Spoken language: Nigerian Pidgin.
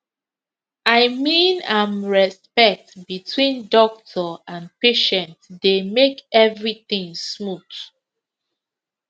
i mean am respect between doctor and patient dey make everything smooth